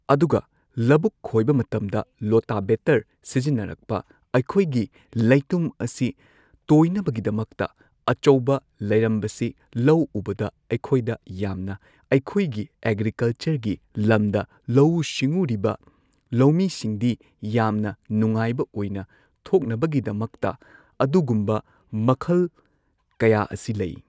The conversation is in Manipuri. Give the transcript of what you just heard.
ꯑꯗꯨꯒ ꯂꯕꯨꯛ ꯈꯣꯏꯕ ꯃꯇꯝꯗ ꯂꯣꯇꯥ ꯕꯦꯇꯔ ꯁꯤꯖꯤꯟꯅꯔꯛꯄ ꯑꯩꯈꯣꯏꯒꯤ ꯂꯩꯇꯨꯝ ꯑꯁꯤ ꯇꯣꯏꯅꯕꯒꯤꯗꯃꯛꯇ ꯑꯆꯧꯕ ꯂꯩꯔꯝꯕꯁꯤ ꯂꯧ ꯎꯕꯗ ꯑꯩꯈꯣꯢꯗ ꯌꯥꯝꯅ ꯑꯩꯈꯣꯏꯒꯤ ꯑꯦꯒ꯭ꯔꯤꯀꯜꯆꯔꯒꯤ ꯂꯝꯗ ꯂꯧꯎ ꯁꯤꯡꯎꯔꯤꯕ ꯂꯧꯃꯤꯁꯤꯡꯗꯤ ꯌꯥꯝꯅ ꯅꯨꯉꯥꯏꯕ ꯑꯣꯏꯅ ꯊꯣꯛꯅꯕꯒꯤꯗꯃꯛꯇ ꯑꯗꯨꯒꯨꯝꯕ ꯃꯈꯜ ꯀꯌꯥ ꯑꯁꯤ ꯂꯩ꯫